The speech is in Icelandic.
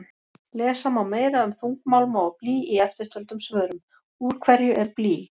Lesa má meira um þungmálma og blý í eftirtöldum svörum: Úr hverju er blý?